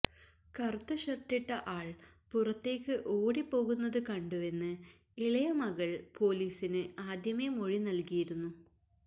കറുത്ത ഷര്ട്ടിട്ട ആള് പുറത്തേക്ക് ഓടി പോകുന്നത് കണ്ടുവെന്ന് ഇളയ മകള് പോലീസിനു ആദ്യമേ മൊഴി നല്കിയിരുന്നു